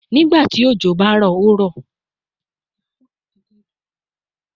Nigbati ojo ba ro, o ro